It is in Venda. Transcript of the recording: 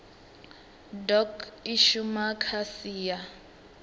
doc i shuma kha sia